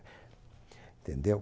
Tendeu?